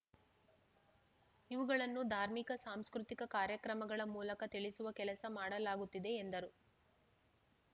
ಇವುಗಳನ್ನು ಧಾರ್ಮಿಕ ಸಾಂಸ್ಕೃತಿಕ ಕಾರ್ಯಕ್ರಮಗಳ ಮೂಲಕ ತಿಳಿಸುವ ಕೆಲಸ ಮಾಡಲಾಗುತ್ತಿದೆ ಎಂದರು